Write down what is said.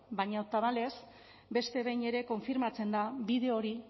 baina tamalez beste behin ere konfirmatzen da bide hori